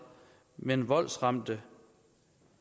men voldsramte